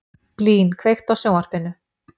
Blín, kveiktu á sjónvarpinu.